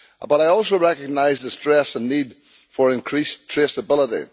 But I also recognise the stress and need for increased traceability.